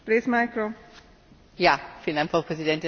Frau Präsidentin, meine Damen und Herren!